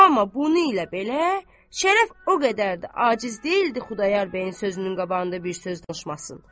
Amma bunu ilə belə Şərəf o qədər də aciz deyildi Xudayar bəyin sözünün qabağında bir söz danışmasın.